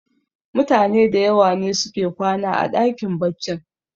mutane da yawa ne suke kwana a dakin baccin